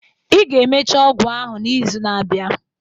Ị ga-emecha ọgwụ ahụ n'izu na-abịa